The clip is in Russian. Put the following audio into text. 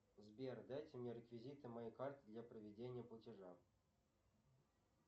сбер дайте мне реквизиты моей карты для проведения платежа